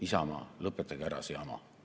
Isamaa, lõpetage ära see jama!